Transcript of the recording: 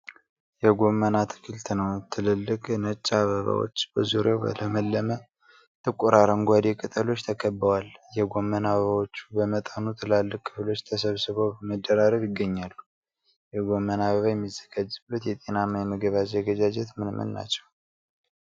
የጎመን አትክልት ነው። ትልልቅ፣ ነጭ አበባዎች በዙሪያቸው በለመለመ፣ ጥቁር አረንጓዴ ቅጠሎች ተከብበዋል። የጎመን አበባዎቹ በመጠኑ ትላልቅ ክፍሎች ተሰብስበው በመደራረብ ይገኛሉ። የጎመን አበባ የሚዘጋጅበት የጤናማ የምግብ አዘገጃጀት ምን ምን ናቸው?